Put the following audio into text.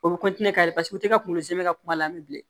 O bɛ ka ka kungolo zɛmɛ kuma la an bɛ bilen